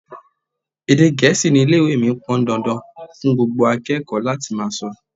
Èdè Gẹ̀ẹ́sì ni Ilé-ìwé mí pọn dandan fún gbogbo akẹ́kọ̀ọ́ láti máa sọ.